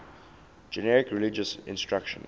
generic religious instruction